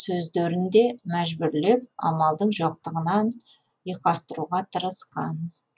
сөздерін де мәжбүрлеп амалдың жоқтығынан ұйқастыруға тырысқан